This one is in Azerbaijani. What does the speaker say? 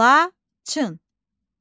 Laçın.